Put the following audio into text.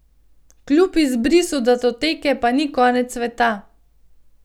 Kljub izbrisu datoteke pa ni konec sveta.